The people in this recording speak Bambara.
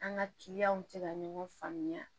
An ka kiliyanw tɛ ka ɲɔgɔn faamuya